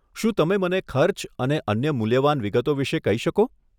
શું તમે મને ખર્ચ અને અન્ય મૂલ્યવાન વિગતો વિશે કહી શકો?